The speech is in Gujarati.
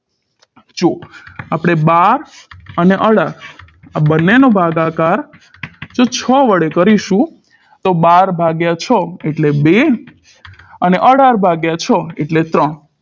જો આપણે બાર અને અઢાર આ બંનેનો ભાગાકાર જો છ વડે કરીશું તો બાર ભાગ્યા છ એટલે બે અને અઢાર ભાગ્યા છ એટલે ત્રણ